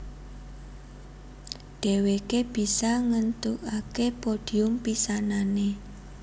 Dhèwèké bisa ngèntukaké podhium pisanané